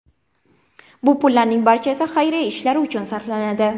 Bu pullarning barchasi xayriya ishlari uchun sarflanadi.